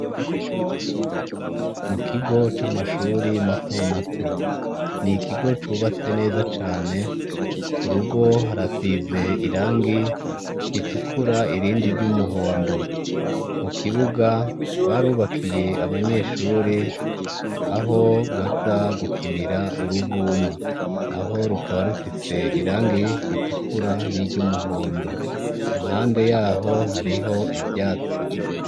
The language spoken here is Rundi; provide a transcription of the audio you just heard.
Mu kigo c' amashuri mato mato. Ni ikigo cubatse neza cane, ku rugo harasize irangi ritukura, irindi ry' umuhondo. Mu kibuga, barubakiye abanyeshuri aho baza gukinira uruvuma. Naho rukaba rufise irangi ritukura n' iry' umuhondo. Impande yaho, hariho ivyatsi.